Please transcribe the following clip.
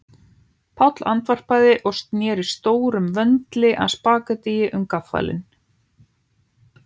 Páll andvarpaði og sneri stórum vöndli af spaghettíi um gaffalinn